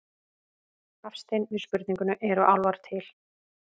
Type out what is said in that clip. Hafstein við spurningunni Eru álfar til?